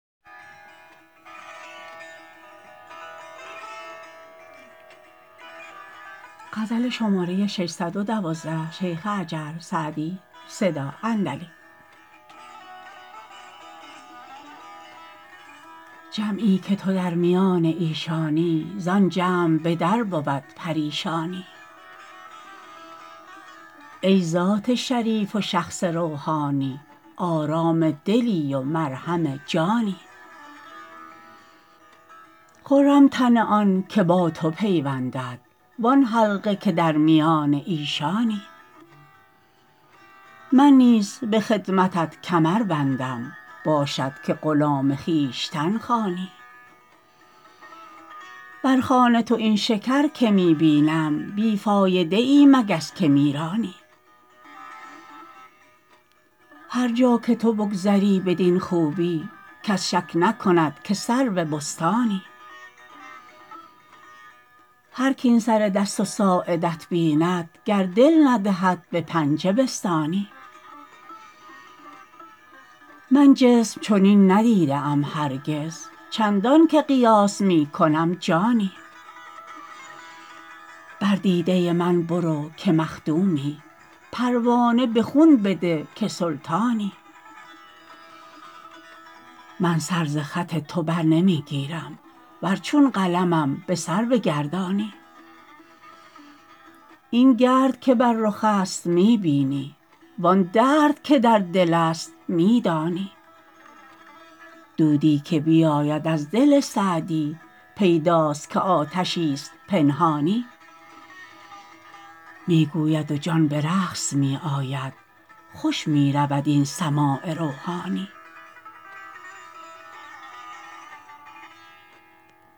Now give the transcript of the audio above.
جمعی که تو در میان ایشانی زآن جمع به در بود پریشانی ای ذات شریف و شخص روحانی آرام دلی و مرهم جانی خرم تن آن که با تو پیوندد وآن حلقه که در میان ایشانی من نیز به خدمتت کمر بندم باشد که غلام خویشتن خوانی بر خوان تو این شکر که می بینم بی فایده ای مگس که می رانی هر جا که تو بگذری بدین خوبی کس شک نکند که سرو بستانی هرک این سر دست و ساعدت بیند گر دل ندهد به پنجه بستانی من جسم چنین ندیده ام هرگز چندان که قیاس می کنم جانی بر دیده من برو که مخدومی پروانه به خون بده که سلطانی من سر ز خط تو بر نمی گیرم ور چون قلمم به سر بگردانی این گرد که بر رخ است می بینی وآن درد که در دل است می دانی دودی که بیاید از دل سعدی پیداست که آتشی ست پنهانی می گوید و جان به رقص می آید خوش می رود این سماع روحانی